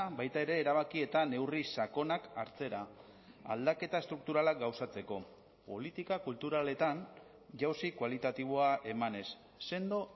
baita ere erabaki eta neurri sakonak hartzera aldaketa estrukturalak gauzatzeko politika kulturaletan jauzi kualitatiboa emanez sendo